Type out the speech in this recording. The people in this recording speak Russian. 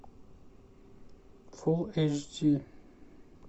фул эйч ди